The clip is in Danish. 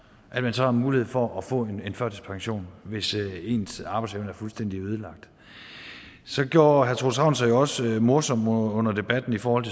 at man så har mulighed for at få en førtidspension hvis ens arbejdsevne er fuldstændig ødelagt så gjorde herre troels ravn sig jo også morsom under debatten i forhold